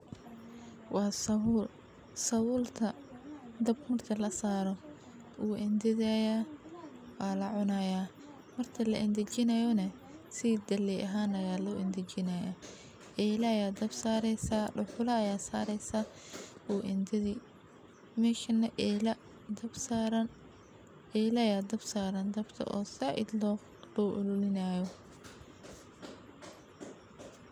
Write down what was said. Waa sabuul. Sabuulta dhab marka la saaro. Uu intidayaa waa lacunayaa war-tig la inti jinaayyoonay. Sidi geley ahaan ayaa loo inti jinaayaa. Eelaya dab saaraysa dhulaya saaraysa uu intiday meeshi na eeyla dab saaran eelaya dab saaran dabto oo sida idlo dhaw ulineenayo.